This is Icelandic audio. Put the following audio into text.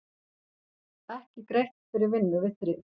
Ekki greitt fyrir vinnu við þrif